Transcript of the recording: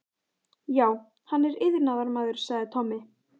Já, hann er iðnaðarmaður, sagði Tommi.